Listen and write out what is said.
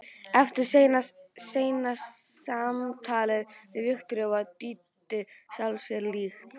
Eftir seinna símtalið við Viktoríu varð Dídí sjálfri sér lík.